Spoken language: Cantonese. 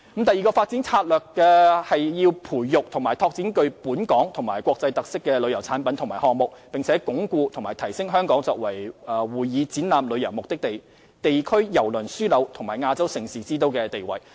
第二個發展策略是培育及拓展具本港及國際特色的旅遊產品及項目，並鞏固和提升香港作為會議展覽旅遊目的地、地區郵輪樞紐及亞洲盛事之都的地位。